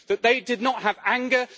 They did not have anger